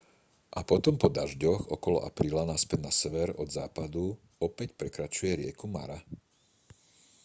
a potom po dažďoch okolo apríla naspäť na sever od západu opäť prekračuje rieku mara